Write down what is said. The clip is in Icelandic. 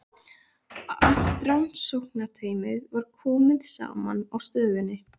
Allt rannsóknarteymið var komið saman á stöðinni.